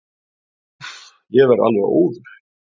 """Úff, ég verð alveg óður."""